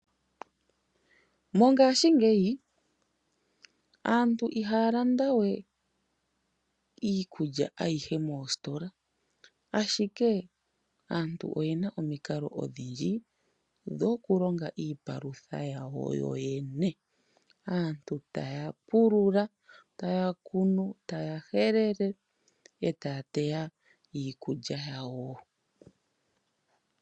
Mongashingeyi aantu iihaa landa we iikulya ayihe moositola, ashike aantu oye na omikalo odhindji dho ku longa iipalutha ya wo yo yene. Aantu taya pulula , ta ya kunu, ta ya helele, ee taya teya iikulya yawo.